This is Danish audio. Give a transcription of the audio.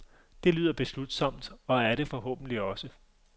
Det lyder beslutsomt, og er det forhåbentligt også.